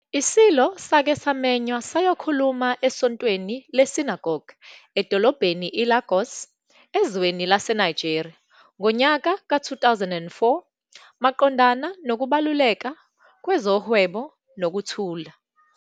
ISilo sake samenywa sayokhuluma eSontweni Lesinagoge edolobheni eLagos, ezweni laseNigeria, ngonyaka ka-2004 maqondana nokubaluleka kwezohwebo nokuthula.